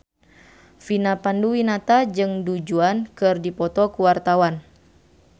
Vina Panduwinata jeung Du Juan keur dipoto ku wartawan